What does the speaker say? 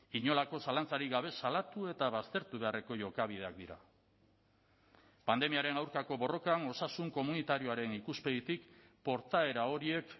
inolako zalantzarik gabe salatu eta baztertu beharreko jokabideak dira pandemiaren aurkako borrokan osasun komunitarioaren ikuspegitik portaera horiek